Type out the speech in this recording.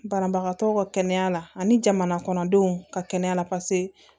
Banabagatɔ ka kɛnɛya la ani jamanakɔnɔdenw ka kɛnɛya la paseke